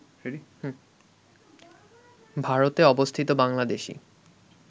ভারতে অবস্থিত বাংলাদেশী